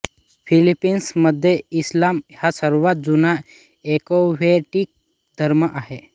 फिलिपिन्समध्ये इस्लाम हा सर्वात जुने एकोव्हेस्टीक धर्म आहे